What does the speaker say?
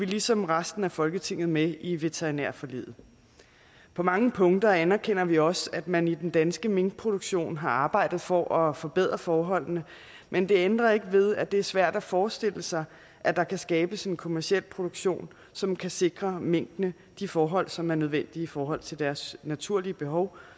ligesom resten af folketinget med i veterinærforliget på mange punkter anerkender vi også at man i den danske minkproduktion har arbejdet for at forbedre forholdene men det ændrer ikke ved at det er svært at forestille sig at der kan skabes en kommerciel produktion som kan sikre minkene de forhold som er nødvendige i forhold til deres naturlige behov